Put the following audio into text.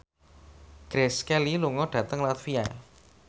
Grace Kelly lunga dhateng latvia